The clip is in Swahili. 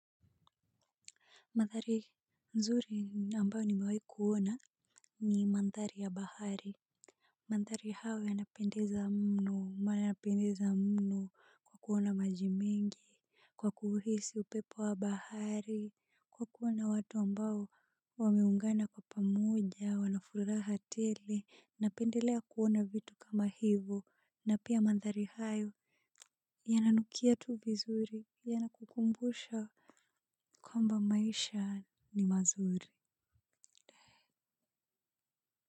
Mandhari nzuri ambayo nimewai kuona ni mandhari ya bahari. Mandhari hayo yanapendeza mno kuona maji mengi, kwa kuhisi upepo wa bahari, kwa kuona watu ambao wameungana kwa pamoja, wana furaha tele. Napendelea kuona vitu kama hivyo na pia mandhari hayo, yananukia tu vizuri. Yanakukumbusha kwamba maisha ni mazuri.